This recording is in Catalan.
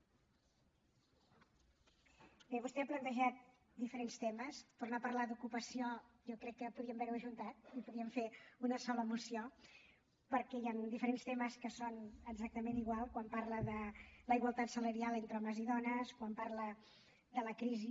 bé vostè ha plantejat diferents temes tornar a parlar d’ocupació jo crec que podríem haver ho ajuntat i podíem fer una sola moció perquè hi han diferents temes que són exactament iguals quan parla de la igualtat salarial entre homes i dones quan parla de la crisi